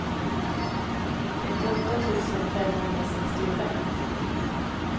trettioåtta tusen femhundrasextiofem